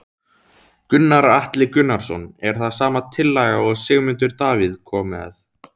Gunnar Atli Gunnarsson: Er það sama tillaga og Sigmundur Davíð kom með?